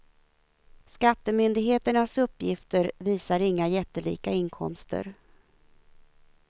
Skattemyndigheternas uppgifter visar inga jättelika inkomster.